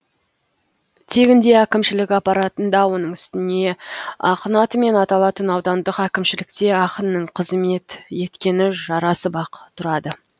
тегінде әкімшілік аппаратында оның үстіне ақын атымен аталатын аудандық әкімшілікте ақынның қызмет еткені жарасып ақ тұрады